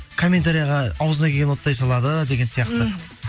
комментарияға ауызына келгенін оттай салады деген сияқты мхм